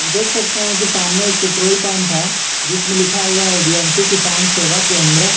देख सकते हैं कि सामने एक पेट्रोल पंप है जिसमें लिखा हुआ है यदुवंशी किसान सेवा केंद्र।